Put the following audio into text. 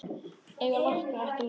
Eiga læknar ekki að lækna?